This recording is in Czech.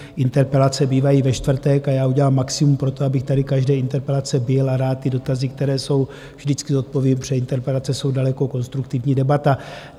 Interpelace bývají ve čtvrtek a já udělám maximum pro to, abych tady každé interpelace byl, a rád ty dotazy, které jsou, vždycky zodpovím, protože interpelace jsou daleko konstruktivní debata.